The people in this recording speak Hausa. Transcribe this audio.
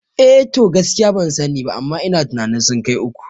Eh to, gaskiya ban sani ba amma ina tunanin sun kai uku